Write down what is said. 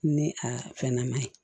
Ni a fɛn nama ye